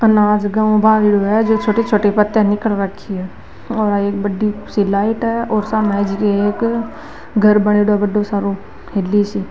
अनाज गेहू बाज़रो है जो छोटे छोटे पत्ता निकल रखी है और ये बड़ी सी लाइट है और सामने एक घर बनेडो है बड़ो सारो हेली सी।